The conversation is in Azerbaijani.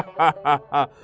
Ha ha ha!